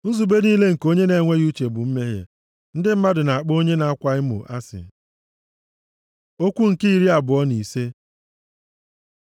Nzube niile nke onye na-enweghị uche bụ mmehie, ndị mmadụ na-akpọ onye na-akwa emo asị. Okwu nke iri abụọ na ise